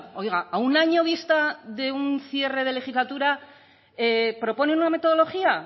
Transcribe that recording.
oiga a un año vista de un cierre de legislatura propone una metodología